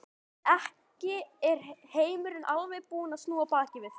Ekki er heimurinn alveg búinn að snúa baki við þér.